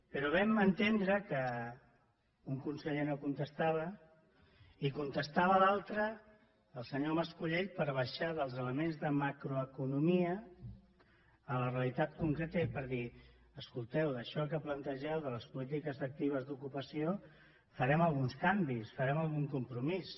però vam entendre que un conseller no contestava i contestava l’altre el senyor mas colell per baixar dels elements de macroeconomia a la realitat concreta i per dir escolteu d’això que plantegeu de les polítiques actives d’ocupació farem alguns canvis farem algun compromís